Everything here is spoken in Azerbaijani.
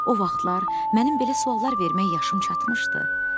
O vaxtlar mənim belə suallar vermək yaşım çatmışdı.